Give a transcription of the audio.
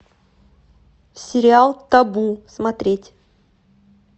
сериал табу смотреть